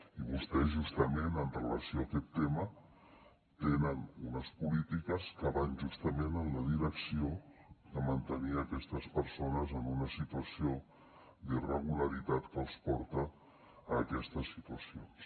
i vostès justament en relació amb aquest tema tenen unes polítiques que van justament en la direcció de mantenir aquestes persones en una situació d’irregularitat que els porta a aquestes situacions